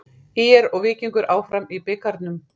ÍR og Víkingur áfram í bikarnum